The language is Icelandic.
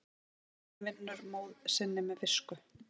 Hygginn vinnur móð sinn með visku.